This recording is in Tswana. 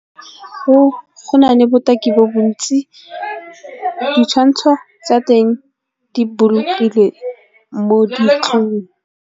Go na le botaki bo bontsi, ditshwantsho tsa teng di bolokile mo .